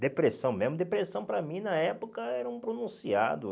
Depressão mesmo, depressão para mim na época era um pronunciado.